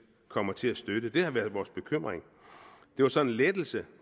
kommer til at støtte det har været vores bekymring det var så en lettelse